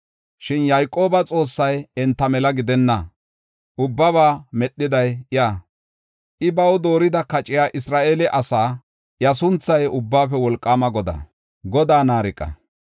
Shin Yayqooba Xoossay enta mela gidenna; ubbaba medhiday iya. I baw doorida kochay Isra7eele asaa; iya sunthay Ubbaafe Wolqaama Godaa.